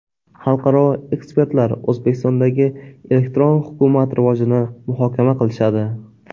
Xalqaro ekspertlar O‘zbekistondagi elektron hukumat rivojini muhokama qilishadi.